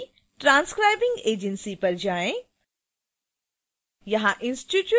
subfield c transcribing agency पर जाएँ